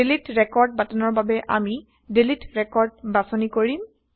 delete record বাটনৰ বাবে আমি ডিলিট ৰেকৰ্ড বাচনি কৰিম